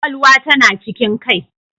Kwakwalwa tana cikin kai